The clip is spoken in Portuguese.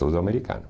Todo americano.